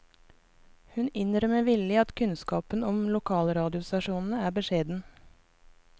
Hun innrømmer villig at kunnskapen om lokalradiostasjonene er beskjeden.